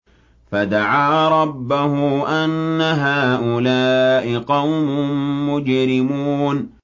فَدَعَا رَبَّهُ أَنَّ هَٰؤُلَاءِ قَوْمٌ مُّجْرِمُونَ